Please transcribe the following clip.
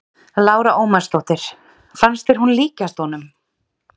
Lára Ómarsdóttir: Fannst þér hún líkjast honum?